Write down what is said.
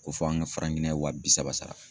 Ko fɔ an ka Giniɲɛn wa bi saba sara.